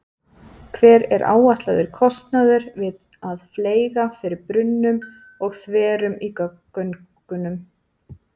Hver er áætlaður kostnaður við að fleyga fyrir brunnum og þverunum í göngunum?